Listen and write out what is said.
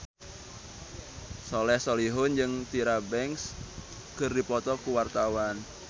Soleh Solihun jeung Tyra Banks keur dipoto ku wartawan